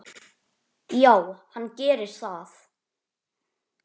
Já, hann gerir það